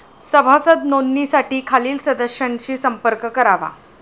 सभासद नोंदणीसाठी खालील सदस्यांशी संपर्क करावा.